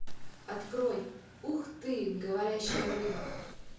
открой ух ты говорящая рыба